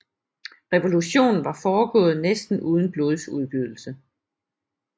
Revolutionen var foregået næsten uden blodsudgydelse